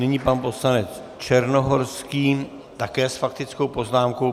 Nyní pan poslanec Černohorský také s faktickou poznámkou.